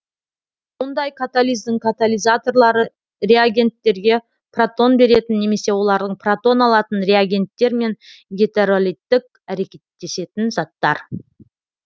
мұндай катализдің катализаторлары реагенттерге протон беретін немесе олардан протон алатын реагенттер мен гетеролиттік әрекеттесетін заттар